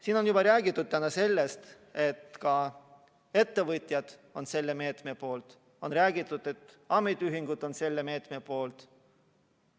Siin on täna juba räägitud, et ka ettevõtjad on selle meetme poolt, ja on räägitud, et ametiühingud on selle meetme poolt.